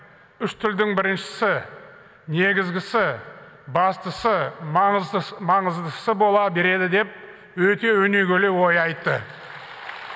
үш тілдің біріншісі негізгісі бастысы маңыздысы маңыздысы бола береді деп өте өнегелі ой айтты